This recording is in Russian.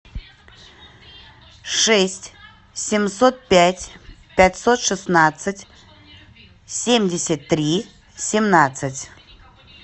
шесть семьсот пять пятьсот шестнадцать семьдесят три семнадцать